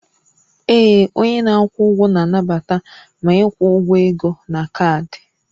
Ee, onye na-akwụ ụgwọ na-anabata ma ịkwụ ụgwọ ego na kaadị